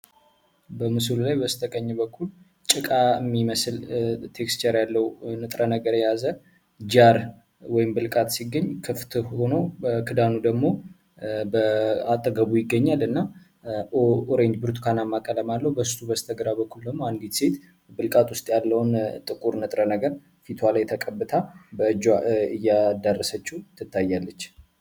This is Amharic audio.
በምስሉ ላይ በስተቀኝ በኩል ጭቃ የሚመስል ቴክስቸር ያለው ንጥረ ነገር የያዘ ጃር ወይም ቢልቃት ሲገኝ ክፍት ሆኖ በክዳኑ ደግሞ በ አጠገቡ ይገኛል። እና ብርቱካናማ ቀለም አለው በሱ በስተግራ በኩልም አንዲት ብቃት ውስጥ ያለውን ጥቁር ንጥረ ነገር ፊቷ ላይ ተቀብታ በእጇ እያዳረሰችው ትታያለች።